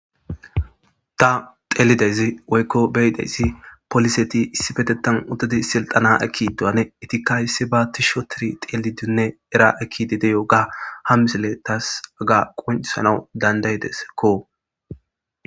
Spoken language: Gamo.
Ta xelida izi woykko be7ideyssi poliseti issipetetan uttudi silxana ekkidi diyoganne itikka issiba tishi otiri xeelidunne era ekkidi de7yooga ha misile taas haga qoncisanawu dandaydesekko.